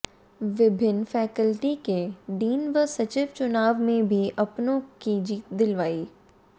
विभिन्न फैकल्टी के डीन व सचिव चुनाव में भी अपनों को जीत दिलवाई